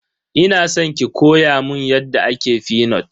Ina san ki koya mun yadda ake fenut.